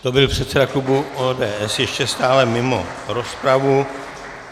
To byl předseda klubu ODS ještě stále mimo rozpravu.